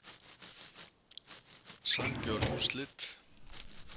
Sanngjörn úrslit.